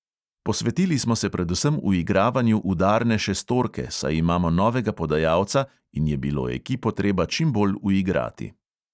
Posvetili smo se predvsem uigravanju udarne šestorke, saj imamo novega podajalca in je bilo ekipo treba čim bolj uigrati.